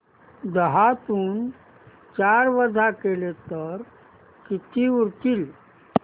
दहातून चार वजा केले तर किती उरतील